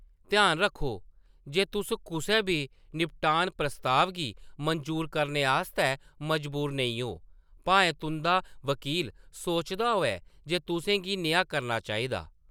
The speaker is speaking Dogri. ध्यान रक्खो जे तुस कुसै बी निपटान प्रस्ताव गी मंजूर करने आस्तै मजबूर नेईं ओ, भाएं तुंʼदा वकील सोचदा होऐ जे तुसें गी नेहा करना चाहिदा।